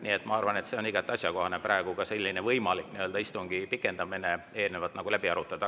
Nii et ma arvan, et on igati asjakohane praegu ka istungi võimalik pikendamine läbi arutada.